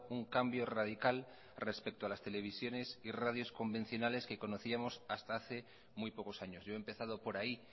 un cambio radical respecto a las televisiones y radios convencionales que conocíamos hasta hace muy pocos años yo he empezado por ahí